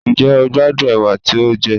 Njẹ o gbadun ewa ti o jẹ?